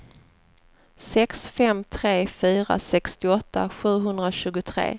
sex fem tre fyra sextioåtta sjuhundratjugotre